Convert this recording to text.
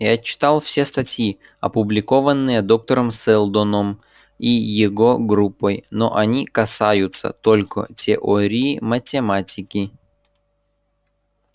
я читал все статьи опубликованные доктором сэлдоном и его группой но они касаются только теории математики